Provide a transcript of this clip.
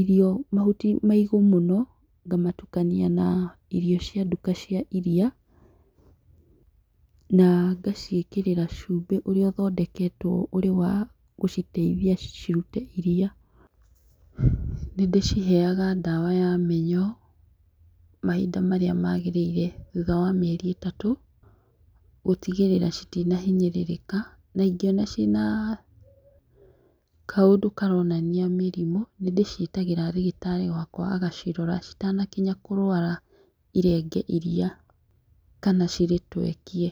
irio mahuti maigũ mũno, ngamatukania na irio cia duka cia iria na ngacikĩrĩra chumbĩ ũrĩa ũthondeketwo ũrĩ wa gũciteithia cirute iria. Nĩ ndĩciheaga dawa ya mĩnyoo mahinda marĩa magĩrĩire thutha wa mĩeri ĩtatũ gũtigĩrĩra citina hinyĩrĩrĩka na ingĩona ciĩ na kaũndũ karonania mĩrimũ nĩ ndĩciĩtagĩra ndagĩtarĩ wakwa agacitora citakinya kũrwara irenge iria kana cirĩtwekie.